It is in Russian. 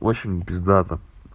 очень пиздато